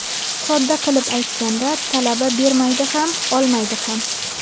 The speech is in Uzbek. Sodda qilib aytganda, talaba bermaydi ham, olmaydi ham.